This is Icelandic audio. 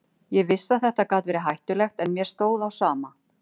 Ég vissi að þetta gat verið hættulegt en mér stóð á sama.